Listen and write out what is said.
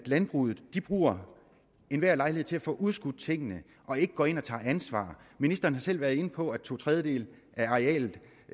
at landbruget bruger enhver lejlighed til at få udskudt tingene og ikke går ind og tager ansvar ministeren har selv været inde på at to tredjedele af arealet